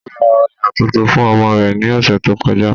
Ó ra òyà tuntun fún ọmọ rẹ̀ ní ọ̀sẹ̀ tó kọjá